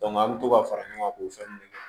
an bɛ to ka fara ɲɔgɔn k'o fɛn ninnu kɛ